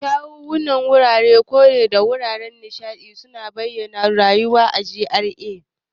Kyawawan wuraren kore da wuraren nishaɗi suna bayyana rayuwar GRA.